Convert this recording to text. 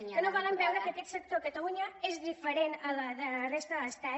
que no volen veure que aquest sector a catalunya és diferent del de la resta de l’estat